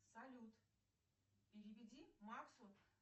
салют переведи максу